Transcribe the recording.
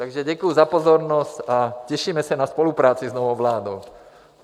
Takže děkuji za pozornost a těšíme se na spolupráci s novou vládou.